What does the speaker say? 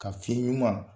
Ka fiɲɛ ɲuman